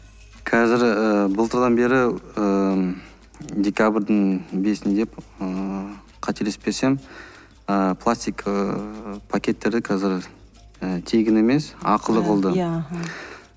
қазір ыыы былтырдан бері ыыы декабрьдің бесінде ммм қателеспесем ыыы пластик ыыы пакеттерді қазір тегін емес ақылы қылды